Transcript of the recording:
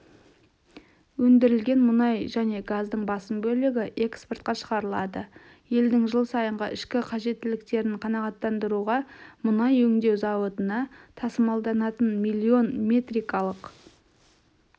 өндірілген мұнай және газдың басым бөлігі экспортқа шығарылады елдің жыл сайынғы ішкі қажеттіліктерін қанағаттандыруға мұнай өңдеу зауытына тасымалданатын миллион метрикалық